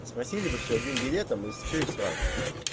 а спросили бы всё одним билетом и всё и сразу